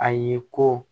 A ye ko